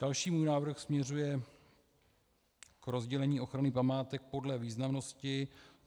Další můj návrh směřuje k rozdělení ochrany památek podle významnosti.